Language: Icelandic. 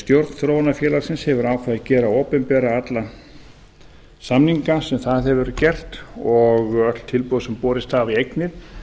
stjórn þróunarfélagsins hefur ákveðið að gera opinbera alla samninga sem það hefur gert og öll tilboð sem borist hafa í eignir